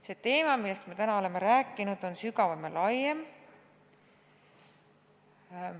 See teema, millest me täna oleme rääkinud, on sügavam ja laiem.